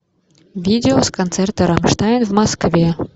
видео с концерта рамштайн в москве